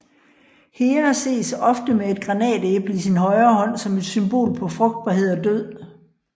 Hera ses ofte med et granatæble i sin højre hånd som et symbol på frugtbarhed og død